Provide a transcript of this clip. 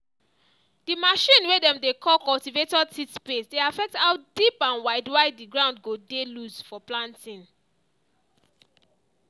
the machine way dem dey call cultivator teeth space dey affect how deep and wide wide the ground go dem loose for planting.